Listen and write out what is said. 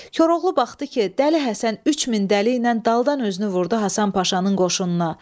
Koroğlu baxdı ki, Dəli Həsən 3000 dəliylə daldan özünü vurdu Hasan Paşanın qoşununa.